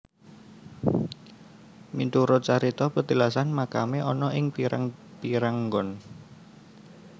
Miturut carita petilasan makamé ana ing pirang pirang nggon